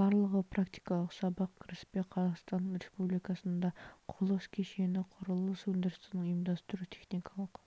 барлығы практикалық сабақ кіріспе қазақстан республикасында құрылыс кешені құрылыс өндірісінің ұйымдастыру техникалық